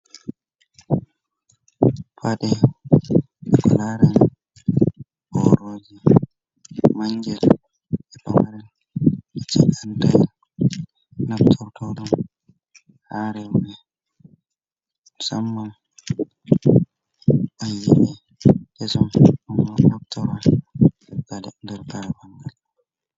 Paɗe ko lareni boroji mangel je pamaren ce andayen namtau taɗum harewme ɓe musamman ban yihi kesom ɗo naftaran baɗe nder kare ɓangal.